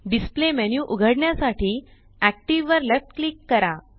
displayमेन्यू उघडण्यासाठी एक्टिव्ह वर left click करा